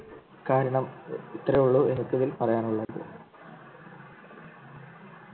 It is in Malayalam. കാരണം ഇത്രയേ ഉള്ളു എനിക്കിതിൽ പറയാനുള്ളത്